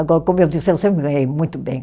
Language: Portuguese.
Agora, como eu disse, eu sempre ganhei muito bem.